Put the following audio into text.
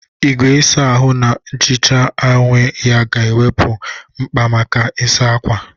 Igwe ịsa ahụ na-ehicha onwe ya ga-ewepụ mkpa maka ịsa ákwà.